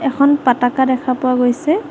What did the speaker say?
এখন পাতাকা দেখা পোৱা গৈছে।